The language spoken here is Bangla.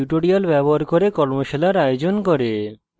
tutorials ব্যবহার করে কর্মশালার আয়োজন করে